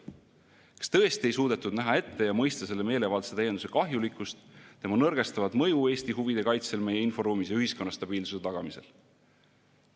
Kas tõesti ei suudetud näha ette ja mõista selle meelevaldse täienduse kahjulikkust, tema nõrgestavat mõju Eesti huvide kaitsel meie inforuumis ja ühiskonna stabiilsuse tagamisel?